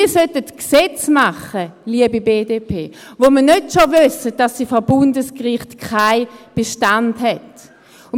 Wir sollten Gesetze machen, liebe BDP, von denen wir nicht schon wissen, dass sie vor Bundesgericht keinen Bestand haben.